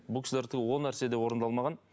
бұл кісілерде ол нәрсе де орындалмаған